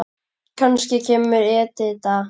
Kannski kemur Edita.